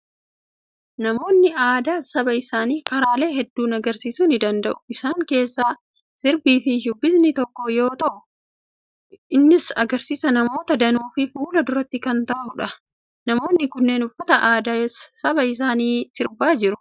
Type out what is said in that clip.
Namoonni aadaa saba isaanii karaalee hedduu agarsiisuu ni danda'u. Isaan keessaa sirbii fi shubbisni tokko yoo ta'u, innis agarsiisa namoota danuu fuula duratti kan ta'udha. Namoonni kunneen uffata aadaa saba isaaniin sirbaa jiru.